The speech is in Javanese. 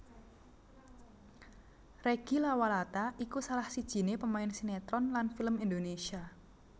Reggy Lawalata iku salah sijiné pemain sinétron lan film Indonésia